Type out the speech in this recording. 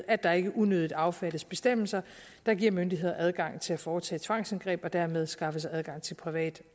at der ikke unødigt affattes bestemmelser der giver myndigheder adgang til at foretage tvangsindgreb og dermed skaffe sig adgang til privat